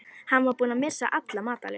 Hann var búinn að missa alla matar lyst.